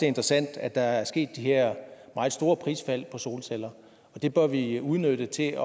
interessant at der er sket de her meget store prisfald på solceller det bør vi udnytte til at